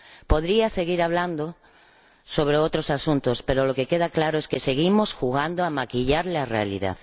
Podría seguir hablando sobre otros asuntos, pero lo que queda claro es que seguimos jugando a maquillar la realidad.